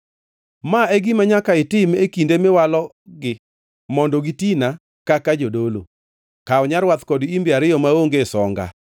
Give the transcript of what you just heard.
“Ma e gima nyaka itim e kinde miwalogi mondo gitina kaka jodolo: Kaw nyarwath kod imbe ariyo maonge songa.